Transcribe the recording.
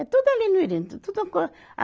É tudo ali no Irene. Tudo uma co, a